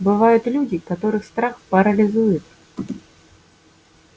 бывают люди которых страх парализует